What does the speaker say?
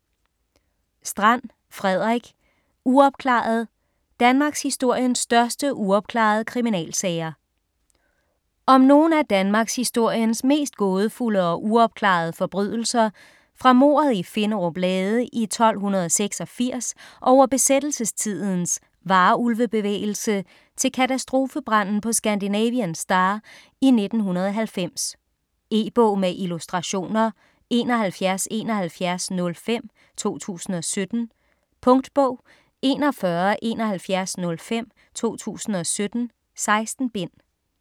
Strand, Frederik: Uopklaret: danmarkshistoriens største uopklarede kriminalsager Om nogle af danmarkshistoriens mest gådefulde og uopklarede forbrydelser fra mordet i Finderup Lade i 1286 over besættelsestidens Varulve-bevægelse til katastrofebranden på Scandinavian Star i 1990. E-bog med illustrationer 717105 2017. Punktbog 417105 2017. 16 bind.